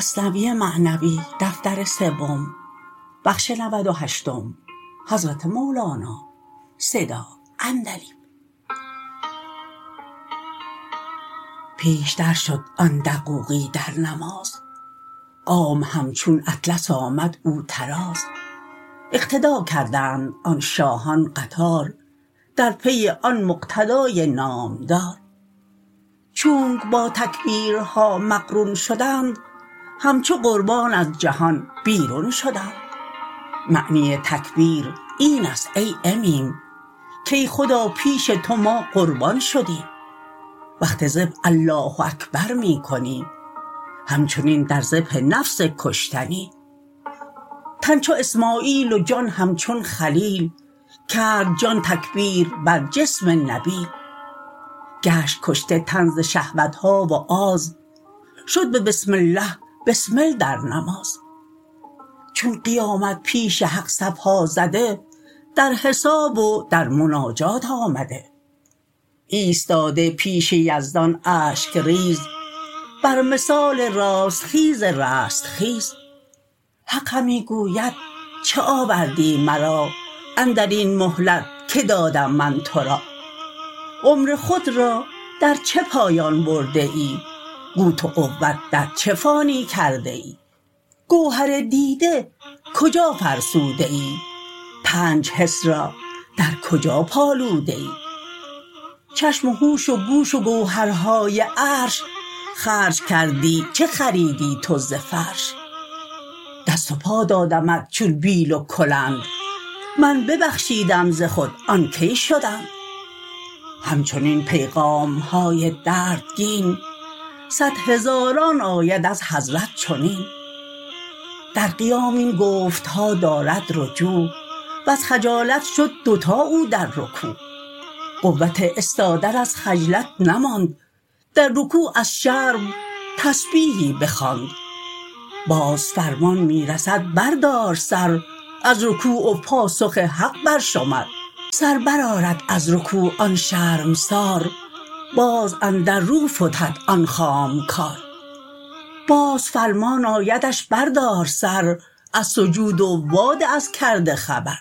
پیش در شد آن دقوقی در نماز قوم همچون اطلس آمد او طراز اقتدا کردند آن شاهان قطار در پی آن مقتدای نامدار چونک با تکبیرها مقرون شدند همچو قربان از جهان بیرون شدند معنی تکبیر اینست ای امیم کای خدا پیش تو ما قربان شدیم وقت ذبح الله اکبر می کنی همچنین در ذبح نفس کشتنی تن چو اسمعیل و جان همچون خلیل کرد جان تکبیر بر جسم نبیل گشت کشته تن ز شهوتها و آز شد به بسم الله بسمل در نماز چون قیامت پیش حق صفها زده در حساب و در مناجات آمده ایستاده پیش یزدان اشک ریز بر مثال راست خیز رستخیز حق همی گوید چه آوردی مرا اندرین مهلت که دادم من تورا عمر خود را در چه پایان برده ای قوت و قوت در چه فانی کرده ای گوهر دیده کجا فرسوده ای پنج حس را در کجا پالوده ای چشم و هوش و گوش و گوهرهای عرش خرج کردی چه خریدی تو ز فرش دست و پا دادمت چون بیل و کلند من ببخشیدم ز خود آن کی شدند همچنین پیغامهای دردگین صد هزاران آید از حضرت چنین در قیام این گفتها دارد رجوع وز خجالت شد دوتا او در رکوع قوت استادن از خجلت نماند در رکوع از شرم تسبیحی بخواند باز فرمان می رسد بردار سر از رکوع و پاسخ حق بر شمر سر بر آرد از رکوع آن شرمسار باز اندر رو فتد آن خام کار باز فرمان آیدش بردار سر از سجود و وا ده از کرده خبر